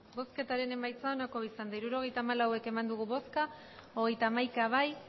emandako botoak hirurogeita hamalau bai hogeita hamaika ez